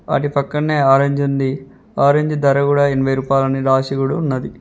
వాటి పక్కనే ఆరంజ్ ఉంది ఆరంజ్ ధర కూడా ఎనబై రూపాయాలు అని రాసి కూడా ఉన్నది.